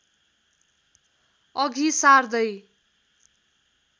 अघि सार्दै